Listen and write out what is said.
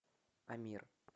амир